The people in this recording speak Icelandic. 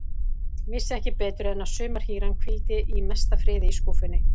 Vissi ekki betur en að sumarhýran hvíldi í mesta friði í skúffunni.